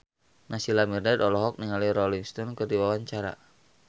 Naysila Mirdad olohok ningali Rolling Stone keur diwawancara